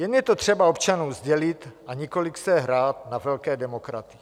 Jen je to třeba občanům sdělit, a nikoliv si hrát na velké demokraty.